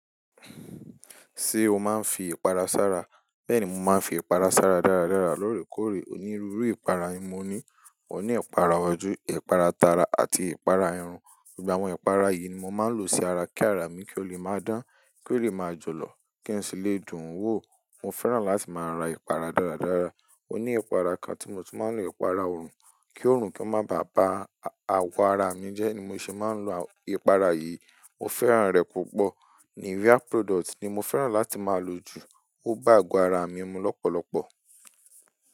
Ṣé o máa ń fi ìpara sára? Bẹ́ẹ̀ ni, mo máa ń fi ìpara sára dáradára. Lórèkòóre, onírúurú ìpara ni mo ní. Mo ní ìpara ọjọ́, ìpara tara àti ìpara irun. Nígbà wo ìpara yìí ni mo máa ń lò sí ara kí ara mi kí ó lè máa dán, kí ó lè máa jọ̀lọ̀, kí n sì lè dùn ún wò. Mo fẹ́ràn láti máa ra ìpara dáradára. Mo ní ìpara kan tí mo ti máa ń lo, ìpara ọrùn. Kí oòrùn kí ó máa ba à ba àwọ̀ ara mi jẹ́ ni mo ṣe máa ń lo ìpara yìí. Mo fẹ́ràn rẹ̀ púpọ̀. Nivea product ni mo fẹ́ràn láti máa lò jù. Ó bá àgọ́ ara mi mu lọ́pọ̀lọpọ̀.